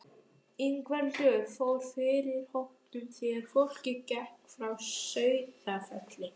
Ingveldur fór fyrir hópnum þegar fólkið gekk frá Sauðafelli.